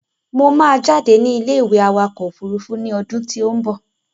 Mo máa jáde ní ilé ìwé awakọ̀ òfúrúúfú ni ọdún tí ó ń bọ̀